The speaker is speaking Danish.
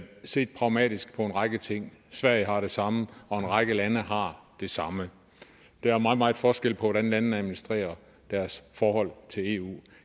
se pragmatisk på en række ting sverige har det samme og en række lande har det samme der er meget meget stor forskel på hvordan landene administrerer deres forhold til eu